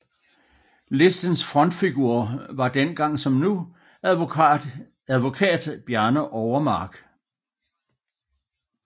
Listens frontfigur var dengang som nu advokat Bjarne Overmark